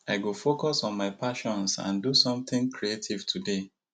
i go focus on my passions and do something creative today